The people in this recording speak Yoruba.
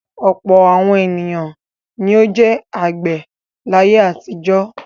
Ọ̀pọ̀ àwọn ènìyàn ni ó jẹ́ àgbẹ̀ láyé àtijọ́.